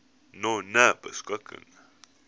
nonebeskikking